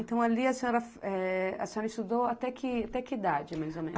Então, ali a senhora eh... A senhora estudou até que, até que idade, mais ou menos?